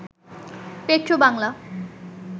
Petrobangla